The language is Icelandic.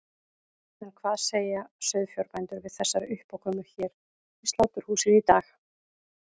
En hvað segja sauðfjárbændur við þessari uppákomu hér við sláturhúsið í dag?